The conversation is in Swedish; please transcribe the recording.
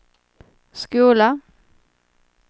skola